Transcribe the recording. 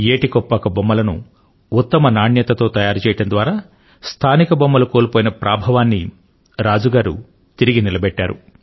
ఏటి కొప్పాక బొమ్మలను ఉత్తమ నాణ్యత తో తయారు చేయడం ద్వారా స్థానిక బొమ్మలు కోల్పోయిన ప్రాభవాన్ని రాజు తిరిగి నిలబెట్టారు